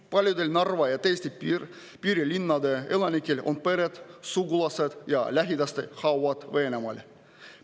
Paljudel Narva ja teiste Eesti piirilinnade elanikel on pered, sugulased ja lähedaste hauad Venemaal.